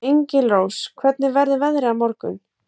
Engilrós, hvernig verður veðrið á morgun?